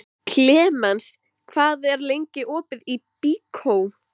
Klemens, hvað er lengi opið í Byko?